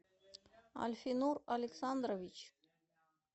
альфинур александрович